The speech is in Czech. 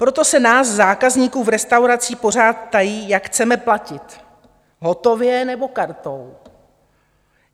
Proto se nás zákazníků v restauracích pořád ptají, jak chceme platit - hotově, nebo kartou?